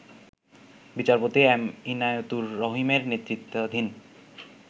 বিচারপতি এম ইনায়েতুর রহিমের নেতৃত্বাধীন